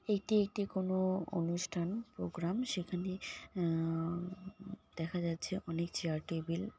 এটি একটি কোনো অনুষ্ঠান প্রোগ্রাম সেখানে আহ দেখা যাচ্ছে অনেক চেয়ার টেবিল ।